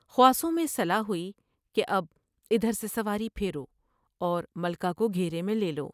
خواصوں میں صلاح ہوئی کہ اب ادھر سے سواری پھیرو اور ملکہ کو گھیرے میں لے لو ۔